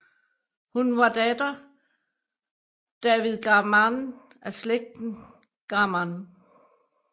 Hun var datter David Garmann af slægten Garmann